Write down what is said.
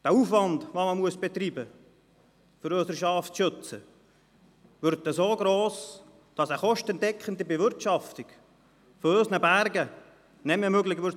Der Aufwand, den man betreiben muss, um unsere Schafe zu schützen, wird so gross, dass eine kostendeckende Bewirtschaftung unserer Berge nicht mehr möglich sein wird.